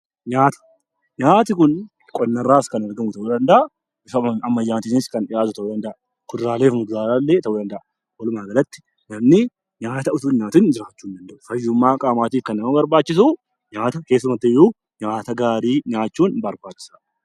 Nyaati kun qonna irraas kan argamu ta'uu danda'a, bifa ammayyaatinis kan dhiyaatu ta'uu danda'a. Akkasumas, kuduraalee fi muduraalee ta'uu danda'a. Walumaa galatti, namni nyaata utuu hin nyaatiin jiraachuu hin danda'u. Fayyummaa qaamaatiif kan nama barbaachisu nyaata gaarii yookiin madaalamaa nyaachuun barbaachisaadha.